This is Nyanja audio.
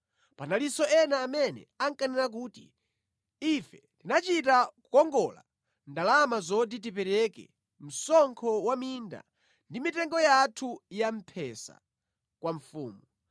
Panalinso ena amene ankanena kuti, “ife tinachita kukongola ndalama zoti tipereke msonkho wa minda ndi mitengo yathu ya mphesa kwa mfumu.